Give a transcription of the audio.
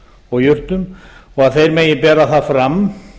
og jurtum og að þeir megi bera það fram